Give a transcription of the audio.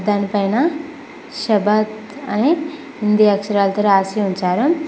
దానిపైన షాభద్ అని హిందీ అక్షరాలతో రాసి ఉంచారు.